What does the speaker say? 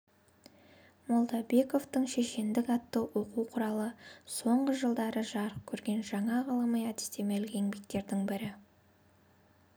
молдабековтың шешендік атты оқу құралы соңғы жылдары жарық көрген жаңа ғылыми-әдістемелік еңбектердің бірі